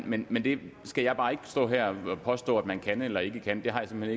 men men det skal jeg bare ikke stå her og påstå om man kan eller ikke kan det har jeg simpelt